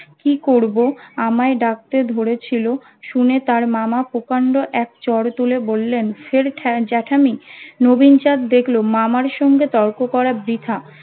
কি করবো আমায় ডাকতে ধরেছিলো শুনে তার মামা প্রকাণ্ড এক চড় তুলে বললেন ফের জ্যাঠামি নবীন চাঁদ দেখলো মামার সঙ্গে তর্ক করা বৃথা